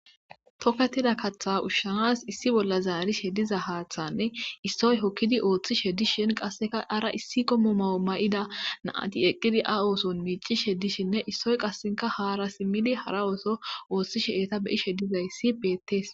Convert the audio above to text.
Toketida katha ushshanas issi bolla zaarishe diza hathanne issoy hokkidi othishe dishin qasseka ara issi komo mayo ma'ida naati eqqidi a ooson miicishe dishinne issoy qassenka haara simili hara ooso ooththishe eta beishe diza issi betes